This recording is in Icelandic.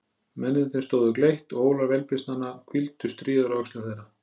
Mennirnir stóðu gleitt og ólar vélbyssnanna hvíldu stríðar á öxlum þeirra.